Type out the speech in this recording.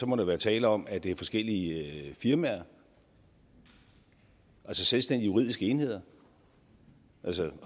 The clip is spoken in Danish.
må der være tale om at det er forskellige firmaer altså selvstændige juridiske enheder